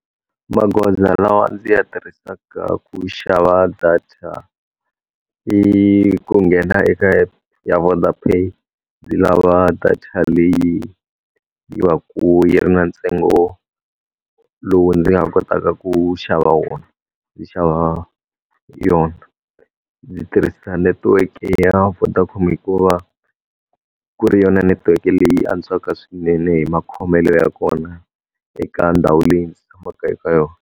Magoza lawa ndzi ya tirhisaka ku xava data, i ku nghena eka app ya Vodapay, ndzi lava data leyi yi va ku yi ri na ntsengo lowu ndzi nga kotaka ku xava wona, ndzi xava yona. Ndzi tirhisa netiweke ya Vodacom hikuva, ku ri yona netiweke leyi antswaka swinene hi makhomelo ya kona eka ndhawu leyi ndzi tshamaka eka yona.